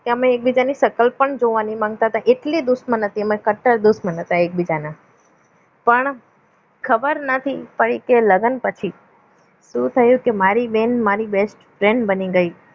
કે અમે એકબીજાને સકલ પણ જોવા નહીં માંગતા હતા એટલે દુશ્મની હતી અમે કટ્ટર દુશ્મન હતા એકબીજાના પણ ખબર નથી પડી કે લગ્ન પછી શું થયું કે મારી બેન મારી best friend બની ગઈ